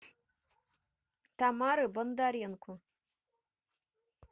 тамары бондаренко